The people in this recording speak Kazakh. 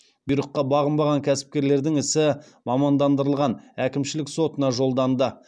бұйрыққа бағынбаған кәсіпкерлердің ісі мамандандырылған әкімшілік сотына жолданды